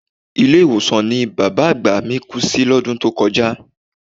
Ilé-ìwòsàn ni bàbá àgbà mí kú sí lọ́dún tó kọjá